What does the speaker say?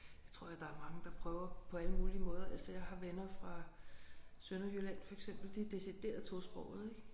Det tror jeg der er mange der prøver på alle mulige måder altså jeg har venner fra Sønderjylland for eksempel de er decideret tosprogede ik